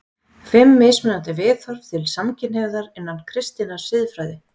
FIMM MISMUNANDI VIÐHORF TIL SAMKYNHNEIGÐAR INNAN KRISTINNAR SIÐFRÆÐI